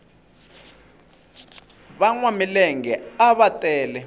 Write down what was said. vanwa milenge ava tele